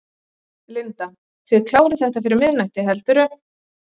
Linda: Þið klárið þetta fyrir miðnætti, heldurðu?